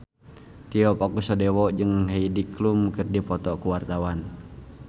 Tio Pakusadewo jeung Heidi Klum keur dipoto ku wartawan